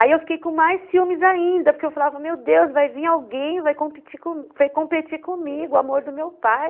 Aí eu fiquei com mais ciúmes ainda, porque eu falava, meu Deus, vai vir alguém, vai compe competir comigo, o amor do meu pai.